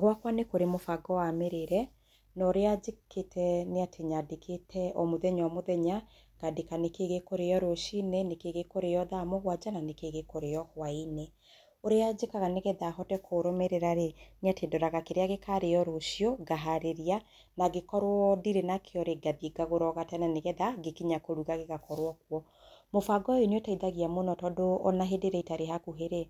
Gwakwa nĩkũrĩ mũbango wa mĩrĩĩre na ũrĩa njĩkĩte nĩatĩ nyandĩkĩte o mũthenya o mũthenya ngandĩka nĩkĩĩ gĩkũrĩo rũcinĩ nĩkĩĩ gĩkũrĩo thaa mũgwanja na nĩkĩĩ gĩkũrĩo hwainĩ. Ũrĩa njĩkaga nigetha hote kũrũmĩrĩra rĩĩ nĩ atĩ ndoraga kĩrĩa gĩkarĩo rũcio ngaharĩria na angĩkorwo ndĩrĩ nakĩo rĩĩ ngathiĩ ngagũra o gatene nĩgetha ngĩkinya kũruga gĩgakorwo kuo. Mũbango ũyũ nĩ ũteithagia mũno tondũ ona hĩndĩ ĩrĩa itarĩ hakuhĩ rĩ,